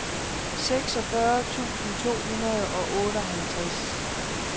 seksogfyrre tusind to hundrede og otteoghalvtreds